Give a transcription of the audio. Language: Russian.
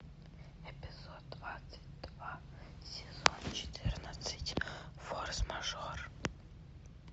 эпизод двадцать два сезон четырнадцать форс мажор